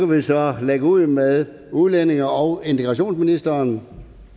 vi så lægge ud med udlændinge og integrationsministeren